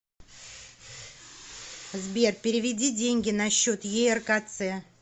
сбер переведи деньги на счет еркц